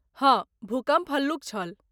हँ, भूकम्प हल्लुक छल।